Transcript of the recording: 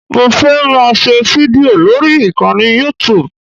Mo fẹ́ máa ṣe fídìò lórí ìkànnì youtube